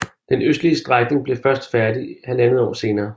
Den østlige strækning blev først færdig 1½ år senere